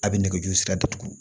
A bɛ nɛgɛjuru sira datugu